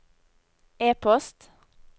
e-post